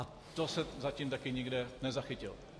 A to jsem zatím taky nikde nezachytil.